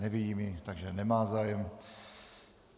Nevidím ji, takže nemá zájem.